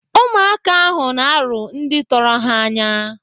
Ụmụaka ahụ na-arụ ndị tọrọ ha anya.